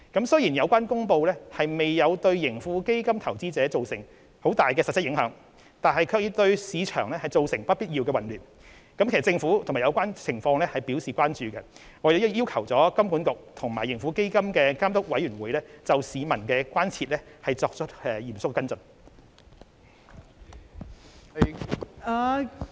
雖然有關公布未有對盈富基金投資者造成巨大的實質影響，但卻對市場造成不必要的混亂，政府對有關情況深表關注，亦已要求香港金融管理局及盈富基金監督委員會就市民的關注作出嚴肅跟進。